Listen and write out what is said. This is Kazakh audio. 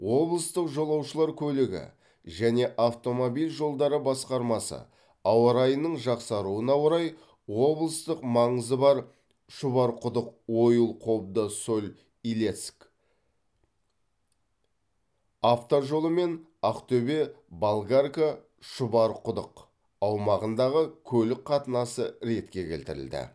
облыстық жолаушылар көлігі және автомобиль жолдары басқармасы ауа райының жақсаруына орай облыстық маңызы бар шұбарқұдық ойыл қобда соль илецк автожолы мен ақтөбе болгарка шұбарқұдық аумағындағы көлік қатынасы ретке келтірілді